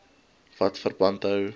wat verband hou